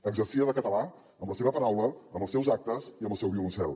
exercia de català amb la seva paraula amb els seus actes i amb el seu violoncel